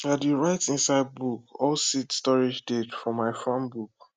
i dey write inside book all seed storage date for my farm book